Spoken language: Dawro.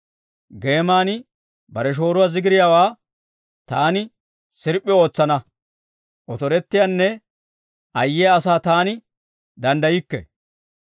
Geeman bare shooruwaa zigiriyaawaa, taani sirp'p'i ootsana. Otorettiyaanne ayyiyaa asaa taani danddaykke.